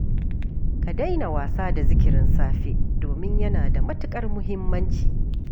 Ka daina wasa da zikirin safe, domin yana da matuƙar muhimmanci